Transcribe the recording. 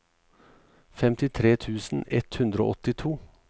femtitre tusen ett hundre og åttito